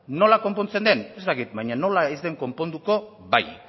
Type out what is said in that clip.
nola konpontzen den ez dakit baina nola ez den konponduko bai